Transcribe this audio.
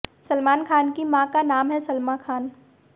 सलमान खान की मां का नाम है सलमा खान